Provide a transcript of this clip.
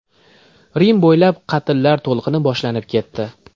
Rim bo‘ylab qatllar to‘lqini boshlanib ketdi.